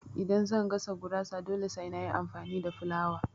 Idan zan gasa gurasa dole sai na yi amfani da fulawa